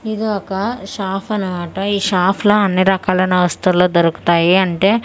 ఇది ఒక షాఫ్ అన్నమాట ఈ షాఫ్ లో అన్నీ రకాలున్న వస్తువులు దొరుకుతాయి అంటే సస బెన్--